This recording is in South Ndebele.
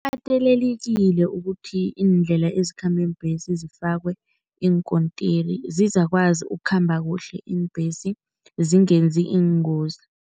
Katelelekile ukuthi iindlela ezikhamba iimbhesi zifakwe iinkontiri, zizakwazi ukukhamba kuhle iimbhesi, zingenzi iingozi.